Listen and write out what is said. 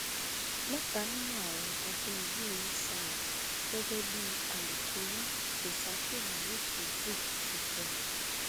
mẹta nínú àwọn ajànigbé yìí sá lọ gẹgẹ bí alūkkóró sosafe morut yusuf ṣe sọ